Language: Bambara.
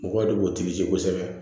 Mɔgɔw de b'u kosɛbɛ